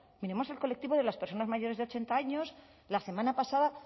miremos al colectivo de las personas mayores de ochenta años la semana pasada